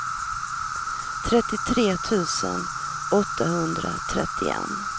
trettiotre tusen åttahundratrettioett